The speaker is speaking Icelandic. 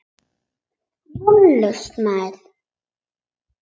Vonlaus maður.